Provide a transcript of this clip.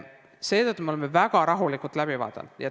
Seetõttu me oleme selle väga rahulikult läbi vaadanud.